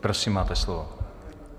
Prosím, máte slovo.